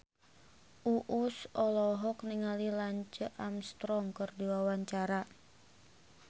Uus olohok ningali Lance Armstrong keur diwawancara